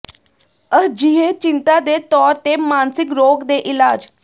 ਅਜਿਹੇ ਚਿੰਤਾ ਦੇ ਤੌਰ ਤੇ ਮਾਨਸਿਕ ਰੋਗ ਦੇ ਇਲਾਜ